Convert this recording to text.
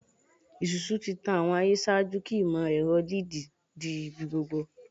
Isusu ti tan awọn aye ṣaaju ki imọ-ẹrọ LED di ibigbogbo